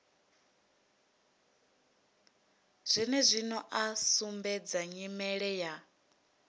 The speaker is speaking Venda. zwenezwino a sumbedza nyimele ya